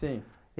Sim.